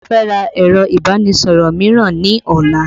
Mo fẹ́ ra ẹ̀rọ ìbánisọ̀rọ̀ mìíràn ní ọ̀la